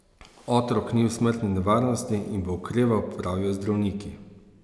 Otrok ni v smrtni nevarnosti in bo okreval, pravijo zdravniki.